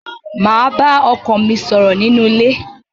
Màá bá ọkọ mi ṣọ̀rọ̀ nínú ilé.